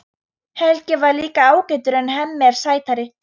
Helgi er líka ágætur en Hemmi er sætari.